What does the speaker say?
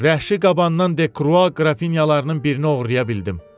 Vəhşi qabandan Dekrua qrafinyalarının birini oğurlaya bildim.